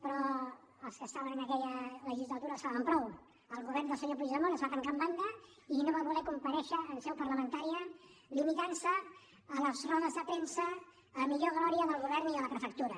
però els que estaven en aquella legislatura ho saben prou el govern del senyor puigdemont es va tancar en banda i no va voler comparèixer en seu parlamentària es va limitar a les rodes de premsa a millor glòria del govern i de la prefectura